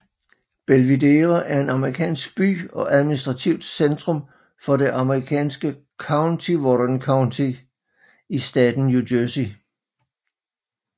Belvidere er en amerikansk by og administrativt centrum for det amerikanske county Warren County i staten New Jersey